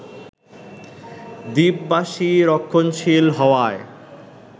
দ্বীপবাসী রক্ষণশীল হওয়ায়